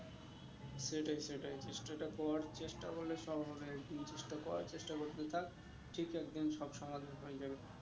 সেটাই সেটাই চেষ্টাটা কর চেষ্টা করলে সব হবে তুই চেষ্টা কর চেষ্টা করতে থাক ঠিক সব সমাধান হয়ে যাবে